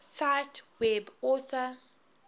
cite web author